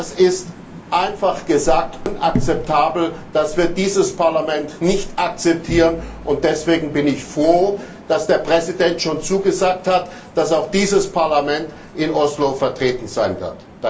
Das ist einfach unakzeptabel, das wird dieses Parlament nicht akzeptieren, und deshalb bin ich froh, dass der Präsident schon zugesagt hat, dass auch dieses Parlament in Oslo vertreten sein wird.